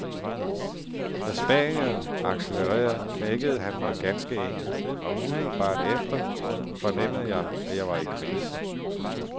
Da spanieren accelerede, knækkede han mig ganske enkelt, og umiddelbart efter fornemmede jeg, at jeg var i krise.